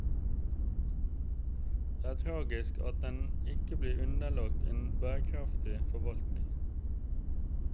Det er tragisk at den ikke blir underlagt en bærekraftig forvaltning.